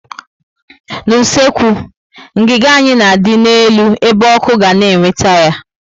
N' usekwu, ngiga anyị na adị n'elu ebe ọkụ ga na eweta ya